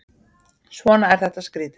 Svona er þetta skrýtið.